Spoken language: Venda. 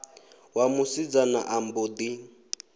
wa musidzana a mbo ḓi